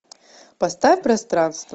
поставь пространство